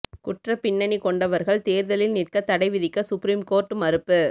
குற்றப்பிண்ணனி கொண்டவர்கள் தேர்தலில் நிற்க தடை விதிக்க சுப்ரிம் கோர்ட் மறுப்பு